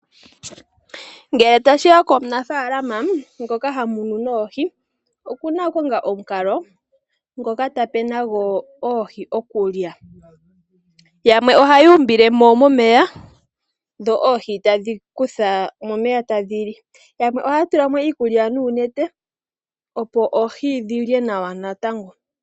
Ngele tashiya komunafaalama ngoka hamunu oohi oku na okukonga omukalo ngoka tape nago oohi okulya. Yamwe oha yu umbile mo momeya dho oohi tadhi kutha momeya tadhi li yamwe ohaya tula mo iikulya noonete, opo oohi dhilye nawa natango.